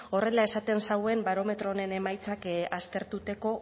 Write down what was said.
horrela esaten zauen barometro honen emaitzak aztertuteko